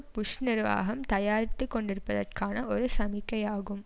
push நிர்வாகம் தயாராகி கொண்டிருப்பதற்கான ஒரு சமிக்கையாகும்